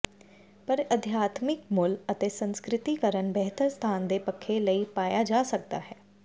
ਪਰ ਅਧਿਆਤਮਿਕ ਮੁੱਲ ਅਤੇ ਸੰਸਿਕਰ੍ਤੀਕਰਣ ਬਿਹਤਰ ਸਥਾਨ ਦੇ ਪੱਖੇ ਲਈ ਪਾਇਆ ਜਾ ਸਕਦਾ ਹੈ